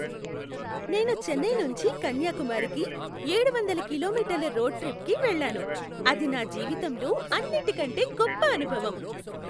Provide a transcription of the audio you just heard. నేను చెన్నై నుంచి కన్యాకుమారికి ఏడు వందల కిలోమీటర్ల రోడ్ ట్రిప్కి వెళ్లాను, అది నా జీవితంలో అన్నిటికంటే గొప్ప అనుభవం.